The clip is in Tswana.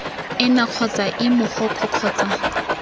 ena kgotsa ii mogokgo kgotsa